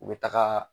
U bɛ taga